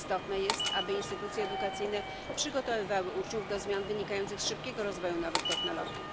Istotne jest, aby instytucje edukacyjne przygotowywały uczniów do zmian wynikających z szybkiego rozwoju nowych technologii.